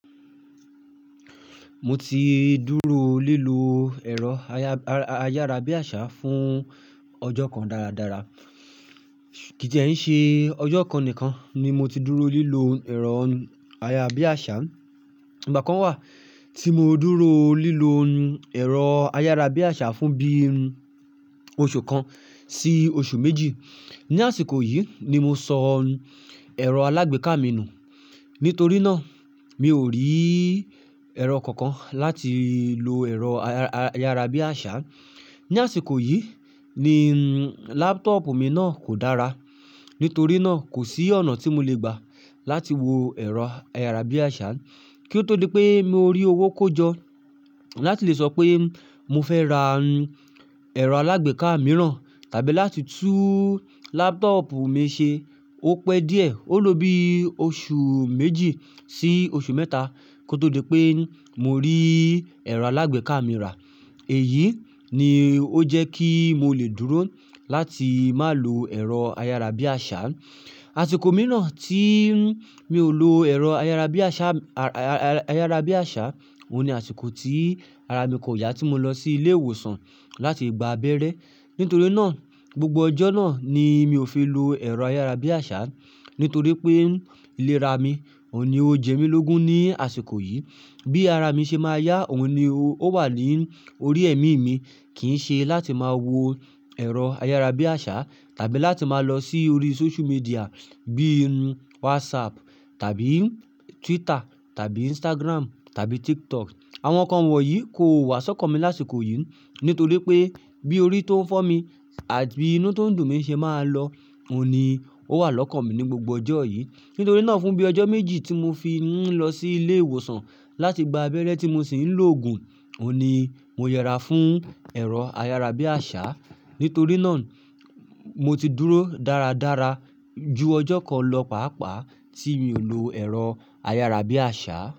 Mo ti dúró lílo ẹ̀rọ ayárabíàṣá fún ọjọ́ kan dáradára. Kì í dẹ́ í ṣe ọjọ́ kan nìkan ní mo ti dúró lílo ẹ̀rọ ayárabiàṣá. Ìgbà kan wà tí mo dúró lílo ẹ̀rọ ayárabiàṣá fún bí oṣù kan sí oṣù méjì. Ni àsìkò yìí ni mo sọ ẹ̀rọ alágbèéká mi nù. Nítorí náà, mi ò rí ẹ̀rọ kankan láti lo ẹ̀rọ ayárabíàṣá. Ni àsìkò yìí ni laptop mi náà kò dára. Nítorí náà, kò sí ọ̀nà tí mo lè gbà láti wo ẹ̀rọ ayárabíàṣá. Kí ó tó di pé mo rí owó kó jọ láti lè sọ pé mo fẹ́ ra ẹ̀rọ alágbèéká mìíràn tàbí láti tún laptop mi ṣe. Ó pẹ́ díẹ̀. Ó lo bí oṣù méjì sí oṣù mẹ́ta kí ó tó di pé mo rí ẹ̀rọ alágbèéká mi rà. Èyí ni ó jẹ́ kí mo lè dúró láti má lò ẹ̀rọ ayárabíàṣá. Àsìkò mìíràn tí mi ò lo ẹ̀rọ ayárabíàṣá, ayárabíàṣá, òun ni àsìkò tí ara mi kò yá tí mo lọ sí ilé ìwòsàn láti gba abẹ́rẹ́. Nítorí náà, gbogbo ọjọ́ náà ni mi ò fi lo ẹ̀rọ ayárabíàṣá. Nítorí pé ìlera mi ò ní o jẹ mí lógun ní àsìkò yìí. Bí ara mi ṣe máa yá, òun ni ó wà ní orí ẹ̀mí mi. Kì í ṣe láti máa wo ẹ̀rọ ayárabíàṣá tàbí láti máa lọ sí orí sóṣú midìà bí i WhatsApp tàbí Twitter tàbí Instagram tàbí TikTok. Àwọn nǹkan wọ̀nyí kò wá si ọ́kan mi lásìkò yìí. Nítorí pé bí orí tó ń fọ́ mi àti inú tó ń dùn mí ṣe máa lọ, òun ni ó wà lọ́kàn mí ní gbogbo ọjọ́ yìí. Nítorí náà, fún bí ọjọ́ méjì tí mo fi ń lọ sí ilé ìwòsàn láti gba abẹ́rẹ́ tí mo sì ń lòògùn, òun ni mo yẹra fún ẹ̀rọ ayára bí àṣá. Nítorí náà, mo ti dúró dáradára ju ọjọ́ kan lọ, pàápàá tí mi ò lo ẹ̀rọ ayárabíàṣá.